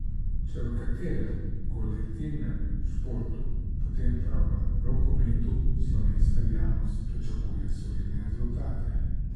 Če v katerem kolektivnem športu, potem prav v rokometu slovenska javnost pričakuje solidne rezultate.